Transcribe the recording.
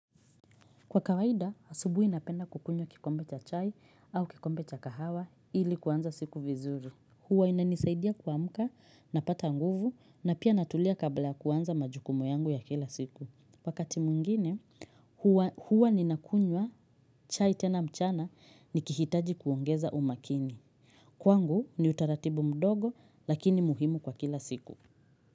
Kwa kawaida, asubuhi napenda kukunywa kikombe cha chai au kikombe cha kahawa ili kuanza siku vizuri. Huwa inanisaidia kuamka, napata nguvu na pia natulia kabla kuanza majukumu yangu ya kila siku. Wakati mwingine, huwa ninakunywa chai tena mchana nikihitaji kuongeza umakini. Kwangu ni utaratibu mdogo lakini muhimu kwa kila siku.